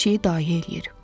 Hər şeyi dayə eləyir.